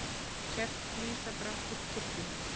Kerti lýsa brátt upp kirkjuna